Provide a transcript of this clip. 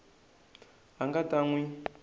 a nga ta n wi